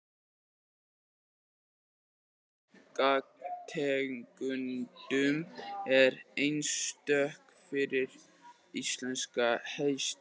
Keppni í gangtegundum er einstök fyrir íslenska hestinn.